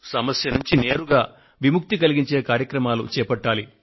సమస్య నుండి నేరుగా విముక్తి కలిగించే కార్యక్రమాలు చేపట్టాలి